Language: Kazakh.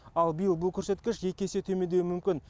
ал биыл бұл көрсеткіш екі есе төмендеуі мүмкін